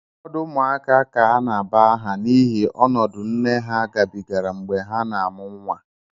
Ụfọdụ ụmụaka ka a na-aba aha n'ihi ọnọdụ nne ha gabigara mgbe ha na-amụ nwa